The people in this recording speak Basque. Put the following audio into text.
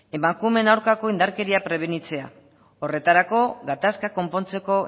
emakumeen aurkako indarkeria prebenitzea horretarako gatazka konpontzeko